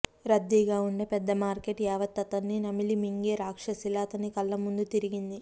రద్దీగా ఉండే పెద్ద మార్కెట్ యావత్తు అతన్ని నమిలి మింగే రాక్షసిలా అతని కళ్ళ ముందు తిరిగింది